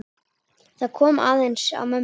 Það kom aðeins á mömmu.